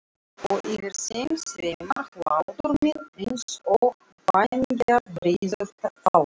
Og yfir þeim sveimar hlátur minn einsog vængjabreiður fálki.